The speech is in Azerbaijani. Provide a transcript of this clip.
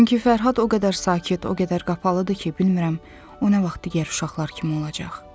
Çünki Fərhad o qədər sakit, o qədər qapalıdır ki, bilmirəm o nə vaxt digər uşaqlar kimi olacaq.